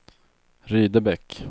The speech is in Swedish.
Rydebäck